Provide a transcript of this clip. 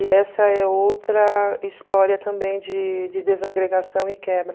E essa é outra história também de de desagregação e quebra.